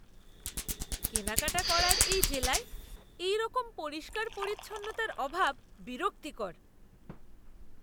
কেনাকাটা করার এই জেলায় এইরকম পরিষ্কার পরিচ্ছন্নতার অভাব বিরক্তিকর!